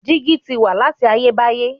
Dígí ti wà láti ayé báyé.